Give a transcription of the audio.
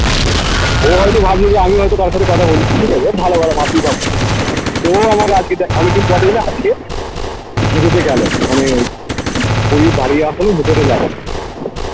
ও হয়তো ভাবছে যে আমিও হয়তো কারোর সাথে কথা বলি ঠিকাছে এ ভালো ভালো ভাবতেই পারবে তো ও আমাকে আজকে দে~ অনেকদিন পর দেখলে আজকে হেঁটে হেঁটে গেলো আমি ওই বাড়ি যাওয়ার সময় হেঁটে হেঁটে গেলো